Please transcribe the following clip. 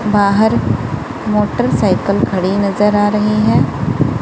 बाहर मोटरसाइकिल खड़ी नजर आ रही हैं।